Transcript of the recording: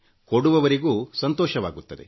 ಕೊಡುವವರಿಗೂ ಸಂತೋಷವಾಗುತ್ತದೆ